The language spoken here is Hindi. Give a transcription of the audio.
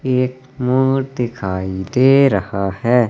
एक मोड़ दिखाई दे रहा है।